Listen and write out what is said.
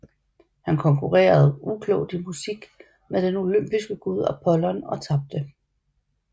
Han konkurrerede uklogt i musik med den olympiske gud Apollon og tabte